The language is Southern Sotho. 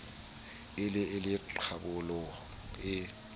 e le e qabolang e